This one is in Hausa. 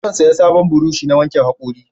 Zan saya sabon burosh na wanke hakori